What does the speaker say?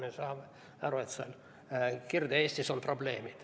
Me saame aru, et Kirde-Eestis on probleemid.